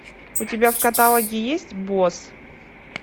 у тебя в каталоге есть босс